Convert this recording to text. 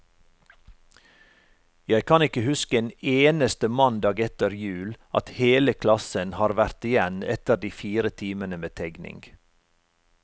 Jeg kan ikke huske en eneste mandag etter jul, at hele klassen har vært igjen etter de fire timene med tegning.